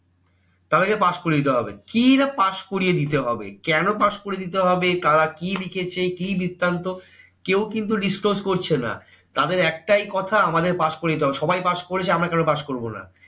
তাদেরকে pass করিয়ে দেওয়া হবে কি না pass করিয়ে দিতে হবে। কেন pass করিয়ে দিতে হবে? তারা কি লিখেছে? কি বৃত্তান্ত? কেউ কিন্তু disclose করছে না। তাদের একটাই কথা আমাদেরকে pass করিয়ে দিতে হবে। সবাই pass করেছে, আমরা কেন pass করবো না?